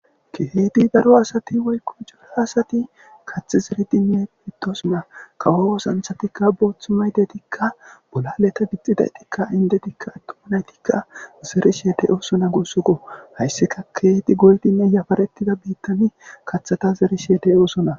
kehi daro asati woykkom jola asati kathi ziridinne pittosona kawo osanthatikka booththu may detikka bolaleta gixxidaytikka indetikka attuma naytikka zerisheede oosona gossuko hayssika keeti goldinne yafaretida biittani kathata zeri shede oosona